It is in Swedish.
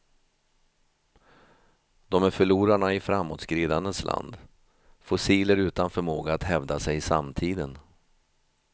De är förlorarna i framåtskridandets land, fossil utan förmåga att hävda sig i samtiden.